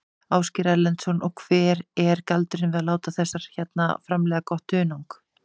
Ásgeir Erlendsson: Og hver er galdurinn við að láta þessar hérna framleiða gott hunang?